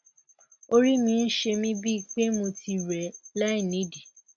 orí mi ń ṣe mí bíi pé mo ti rẹ láìnídìí